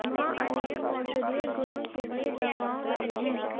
वहाँ अन्य औषधीय गुणों के लिए दवाओं रहे हैं